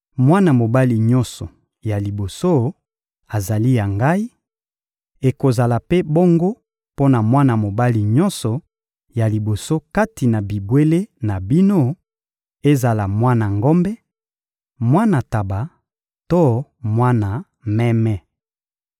Mwana mobali nyonso ya liboso azali ya Ngai; ekozala mpe bongo mpo na mwana mobali nyonso ya liboso kati na bibwele na bino: ezala mwana ngombe, mwana ntaba to mwana meme.